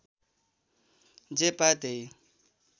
जे पायो त्यही